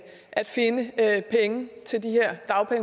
at